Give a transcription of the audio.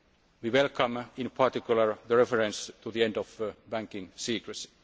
We welcome, in particular, the reference to the end of banking secrecy.